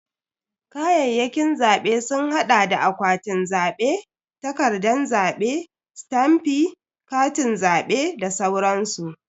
Kayayyakin zabe sun hada da akwatin zabe, takardan zabe, stamf, Katin zabe da sauransu.